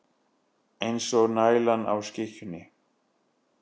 Eins og nælan á skikkjunni.